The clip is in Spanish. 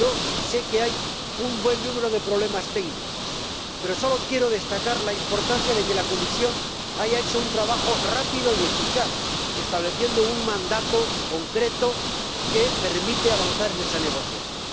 Yo sé que hay un buen número de problemas técnicos, pero sólo quiero destacar la importancia de que la Comisión haya hecho un trabajo rápido y eficaz, estableciendo un mandato concreto que permite avanzar en esa negociación.